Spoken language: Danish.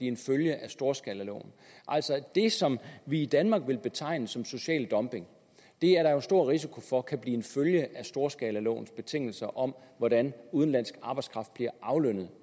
en følge af storskalaloven altså det som vi i danmark vil betegne som social dumping er der stor risiko for kan blive en følge af storskalalovens betingelser om hvordan udenlandsk arbejdskraft bliver aflønnet